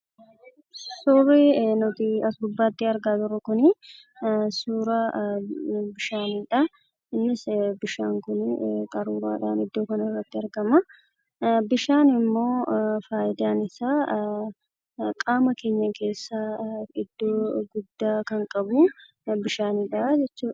Suurri nuti as gubbaatti argaa jirru Kunii, suuraa bishaaniidhaa. Innis bishaan Kun qaruuraadhaan iddoo kanatti argamaa. Bishaan immoo fayidaan isaa qaama keenya keessaa iddoo guddaa kan qabuu, bishaanidha jechuudha.